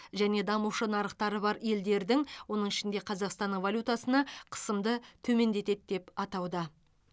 және дамушы нарықтары бар елдердің оның ішінде қазақстанның валютасына қысымды төмендетеді деп атауда